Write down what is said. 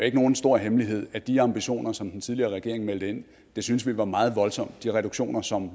ikke nogen stor hemmelighed at de ambitioner som den tidligere regering meldte ind syntes vi var meget voldsomme de reduktioner som